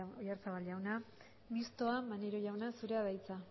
oyarzabal jauna mistoa maneiro jauna zurea da hitza